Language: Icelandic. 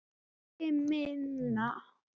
Sölvi: Minna?